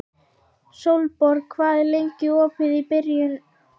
Sólborg, hvað er lengi opið í Brynju?